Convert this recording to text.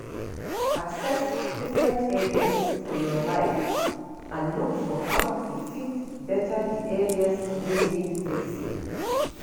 Access different areas for your life and look for how to fit better di areas wey need fixing